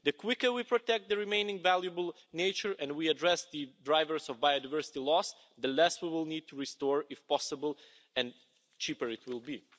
The quicker we protect the remaining valuable nature and we address the drivers of biodiversity loss, the less we will need to restore, if possible, and the cheaper it will be.